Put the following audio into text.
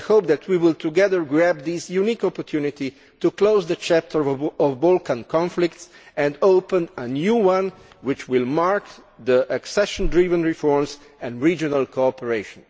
I hope that we will together seize this unique opportunity to close the chapter of Balkan conflict and open a new one, which will be marked by accession driven reforms and regional cooperation.